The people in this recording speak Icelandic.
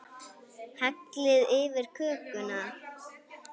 Hellið yfir kökuna.